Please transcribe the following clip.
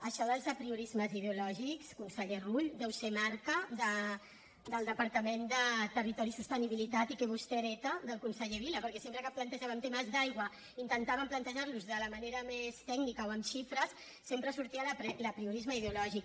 això dels apriorismes ideològics conseller rull deu ser marca del departament de territori i sostenibilitat i que vostè hereta del conseller vila perquè sempre que plantejaven temes d’aigua intentaven plantejar los de la manera més tècnica o amb xifres sempre sortia l’apriorisme ideològic